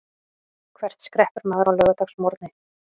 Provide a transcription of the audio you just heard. Hvert skreppur maður á laugardagsmorgni?